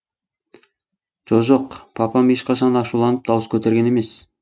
жо жоқ папам ешқашан ашуланып дауыс көтерген емес